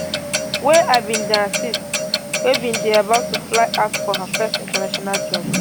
wey im bin dey assist wey bin dey about to fly out for her first international job